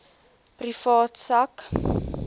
privaat sak